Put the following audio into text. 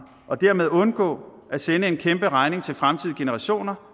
og dermed undgå at sende en kæmpe regning til fremtidige generationer